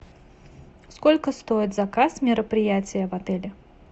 сколько стоит заказ мероприятия в отеле